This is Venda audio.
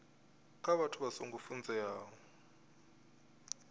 kha vhathu vha songo funzeaho